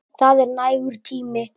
Það er nægur tími.